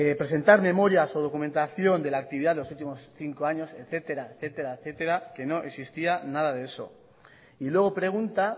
presentar memorias o documentación de la actividad de los últimos cinco años etcétera etcétera etcétera que no existía nada de eso y luego pregunta